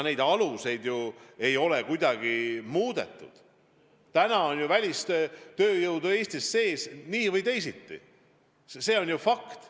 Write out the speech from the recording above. Praegu on välistööjõudu Eestis sees nii või teisiti, see on ju fakt.